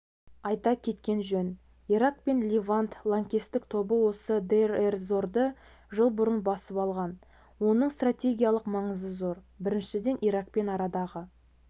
айта кеткен жөн ирак пен левант лаңкестік тобы осы дейр-эз-зорды жыл бұрын басып алған оның стратегиялық маңызы зор біріншіден иракпен арадағы